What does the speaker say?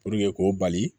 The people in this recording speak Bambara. k'o bali